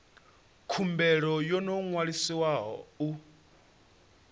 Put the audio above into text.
khumbelo yo no ṅwaliswaho u